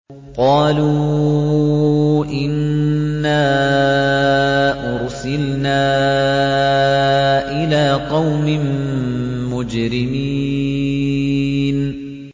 قَالُوا إِنَّا أُرْسِلْنَا إِلَىٰ قَوْمٍ مُّجْرِمِينَ